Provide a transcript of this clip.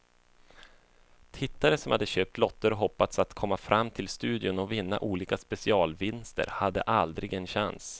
Tittare som hade köpt lotter och hoppats att komma fram till studion och vinna olika specialvinster hade aldrig en chans.